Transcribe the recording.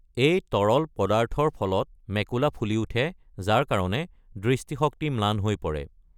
এই তৰল পদাৰ্থৰ ফলত মেকুলা ফুলি উঠে, যাৰ কাৰণে দৃষ্টিশক্তি ম্লান হৈ পৰে।